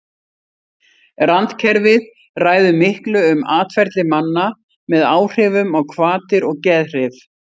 Randkerfið ræður miklu um atferli manna með áhrifum á hvatir og geðhrif.